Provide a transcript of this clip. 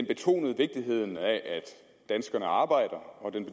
betonede vigtigheden af at danskerne arbejder og den